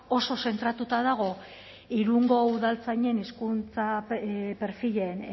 oso zentratuta dago irungo udaltzainen hizkuntza perfilen